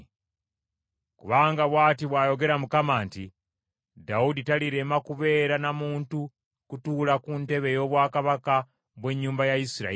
Kubanga bw’ati bw’ayogera Mukama nti, “Dawudi talirema kubeera na muntu kutuula ku ntebe ey’obwakabaka bw’ennyumba ya Isirayiri,